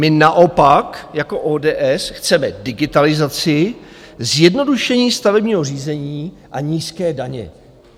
My naopak jako ODS chceme digitalizaci, zjednodušení stavebního řízení a nízké daně.